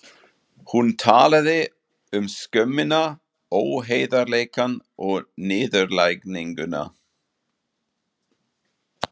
Hún talaði um skömmina, óheiðarleikann og niðurlæginguna.